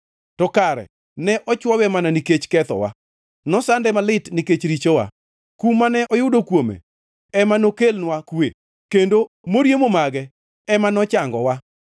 To kare ne ochwowe mana nikech kethowa, nosande malit nikech richowa; kum mane oyudo kuome ema nokelnwa kwe, kendo moriemo mage ema nochangowa.